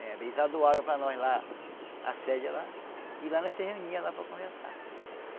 Eh eles adoaram para nós lá a sede lá e lá nós se reunia lá para conversar.